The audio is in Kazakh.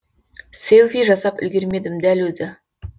селфи жасап үлгермедім дәл өзі